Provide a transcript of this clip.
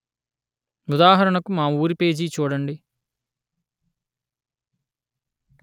ఉదాహరణకు మా ఊరి పేజీ చూడండి